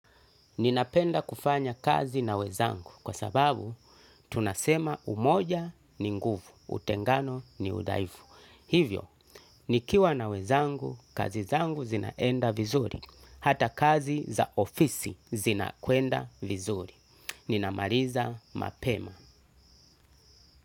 Ninapenda kufanya kazi na wenzangu kwa sababu tunasema umoja ni nguvu, utengano ni udhaifu. Hivyo, nikiwa na wenzangu, kazi zangu zinaenda vizuri, hata kazi za ofisi zina kwenda vizuri. Ninamaliza mapema.